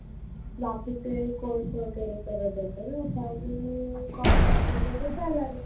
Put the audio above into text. लातूरचे course वगैरे करत होते ना त्यामुळे contact वैगेरे झ्हाला नाही